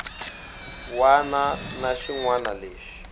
wana na xin wana lexi